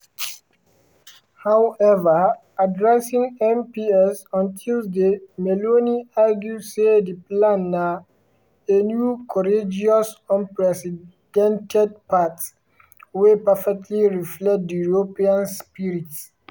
however addressing mps on tuesday meloni argue say di plan na "a new courageous unprecedented path" wey "perfectly reflect di european spirit".